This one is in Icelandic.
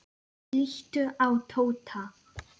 Líttu á Tóta.